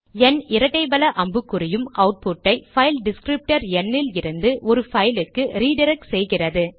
ந் இரட்டை வல அம்புக்குறி யும் அவுட்புட் ஐ பைல் டிஸ்க்ரிப்டர் ந் இலிருந்து ஒரு பைல் க்கு ரிடிரக்ட் செய்கிறது